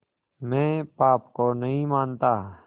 मैं पाप को नहीं मानता